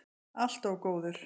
Allt of góður.